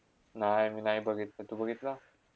नाय मी नाय बघितला, तू बघितला?